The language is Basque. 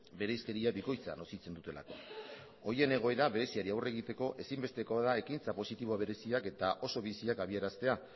bereizkeria bikoitza nozitzen dutelako horien egoera bereziari aurre egiteko ezinbestekoa da ekintza positibo bereziak eta oso biziak adieraztea